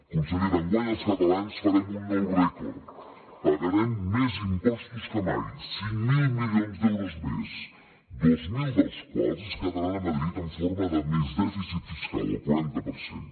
consellera enguany els catalans farem un nou rècord pagarem més impostos que mai cinc mil milions d’euros més dos mil dels quals es quedaran a madrid en forma de més dèficit fiscal el quaranta per cent